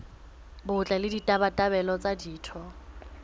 botle le ditabatabelo tsa ditho